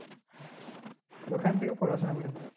ওখান থেকে পড়াশোনা করেছে